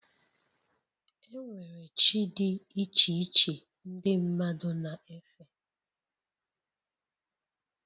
E nwere chi dị iche iche ndị mmadụ na-efe